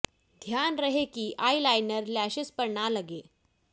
ध्यान रहे कि आई लाइनर लैशेज पर न लगे